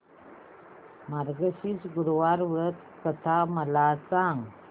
मार्गशीर्ष गुरुवार व्रत कथा मला सांग